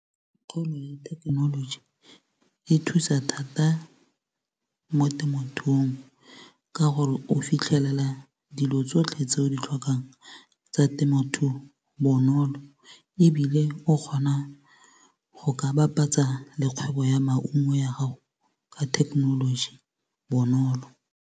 Kgolo ya thekenoloji e thusa thata mo temothuong. Ka gore o fitlhelela dilo tsotlhe tse o di tlhokang tsa temothuo bonolo. Ebile o kgona go ka bapatsa le kgwebo ya maungo ya gago ka thekenoloji bonolo.